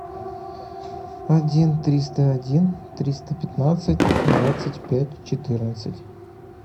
один триста один триста пятнадцать двадцать пять четырнадцать